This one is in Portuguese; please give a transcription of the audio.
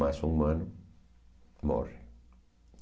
Mais um humano morre.